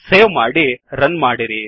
save ಮಾಡಿ run ಮಾಡಿರಿ